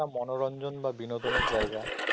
মনোরঞ্জন বা বিনোদনের জায়গা